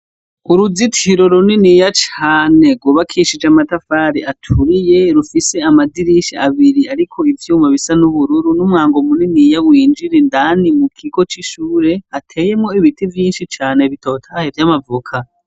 Uruzitiro runiniya cane, rwubakishije amatafari aturiye, rufise amadirisha abiri, ariko ivyuma, bisa n'ubururu, n'umwango winjira indani, mu kigo c'ishure; hateyemwo ibiti vyinshi cane, bitotahaye, vy'amavoka.